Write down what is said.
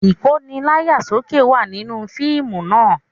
Ìkóni láyà sókè wà nínú fíìmù náà